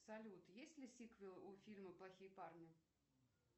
салют есть ли сиквел у фильма плохие парни